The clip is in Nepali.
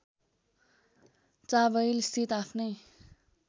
चाबहिलस्थित आफ्नै